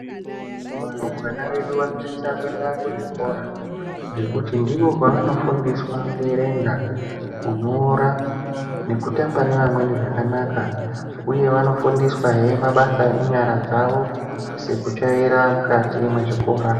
Varumbwana vedu vanosisa kuenda kuzvikora ngekuti ndiko kwavanofundiswa kuverenga nekunyora nekutamba nevamweni zvakanaka uye vanofundiswa hee mabasa enyara dzavo sekutsvaira mukati mechikora